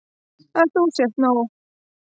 Að þú sért nóg.